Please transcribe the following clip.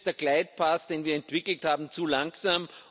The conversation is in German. Hier ist der glide path den wir entwickelt haben, zu langsam.